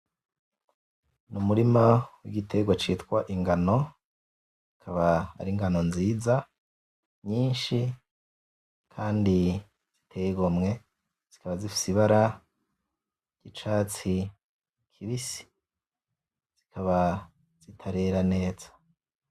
Numurima wigitegwa citwa ingano akaba ari ingano nziza nyinshi kandi ziteye igomwe , zikaba zifise ibara ryicatsi kibisi , zikaba zitarera neza .